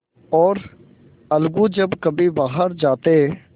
और अलगू जब कभी बाहर जाते